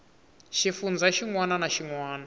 xifundzha xin wana na xin